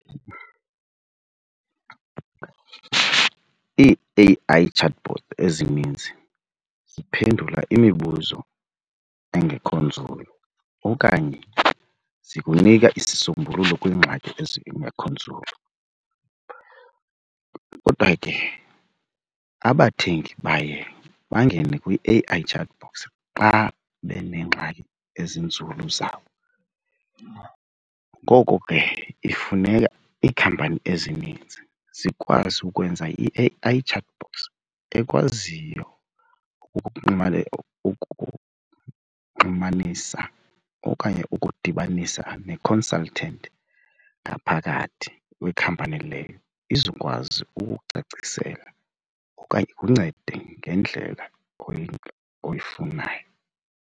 Ii-A_I chatbot ezininzi ziphendula imibuzo engekho nzulu okanye zikunika isisombululo kwiingxaki ezingekho nzulu. Kodwa ke abathengi baye bangene kwi-A_I chat box xa beneengxaki ezinzulu zabo. Ngoko ke ifuneka iikhampani ezininzi zikwazi ukwenza i-A_I chat box ekwaziyo ukuxhumanisa okanye ukukudibanisa ne-consultant ngaphakathi kwekhampani leyo izokwazi ukukucacisela okanye ikuncede ngendlela oyifunayo.